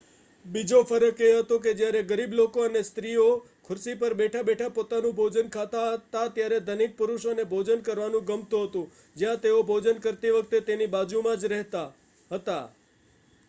બીજો ફરક એ હતો કે જ્યારે ગરીબ લોકો અને સ્ત્રી ઓ ખુરશીપર બેઠા બેઠા પોતાનું ભોજન ખાતા હતા ત્યારે ધનિક પુરુષોને ભોજન કરવાનું ગમતું હતું જ્યાં તેઓ ભોજન કરતી વખતે તેમની બાજુમાં જરહેતા હતા